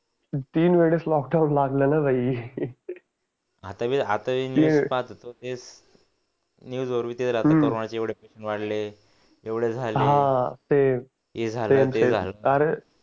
तीन वेळेस लॉकडाउन लागलं ना भाई